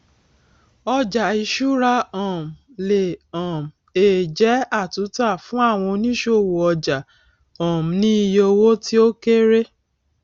ọjà ìṣúra um le um è jẹ àtúntà fún àwọn òníṣòwò ọjà um ní iye owó tí ó kéré